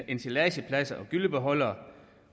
ensilagepladser og gyllebeholdere